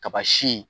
Kaba si